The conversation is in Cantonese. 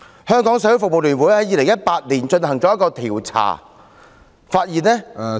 香港社會服務聯會在2018年進行調查，發現......